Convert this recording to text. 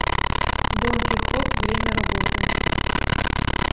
дон кихот время работы